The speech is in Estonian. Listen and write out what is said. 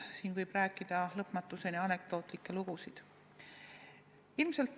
Sellest võib lõpmatuseni rääkida anekdootlikke lugusid.